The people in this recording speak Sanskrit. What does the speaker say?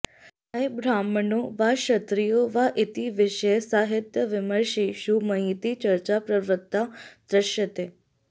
अयं ब्राह्मणो वा क्षत्रियो वा इति विषये साहित्यविमर्शेषु महती चर्चा प्रवृत्ता दृश्यते